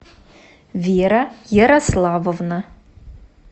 вера ярославовна